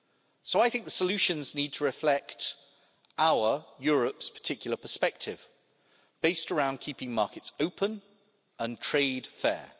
So I think the solutions need to reflect our Europe's particular perspective based around keeping markets open and trade fair.